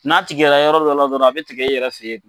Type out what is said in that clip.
N'a tigɛ la yɔrɔ dɔ la dɔrɔn a bɛ tigɛ i yɛrɛ fɛ ye.